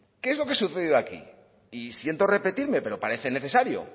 qué es lo que sucedió aquí y siento repetirme pero parece necesario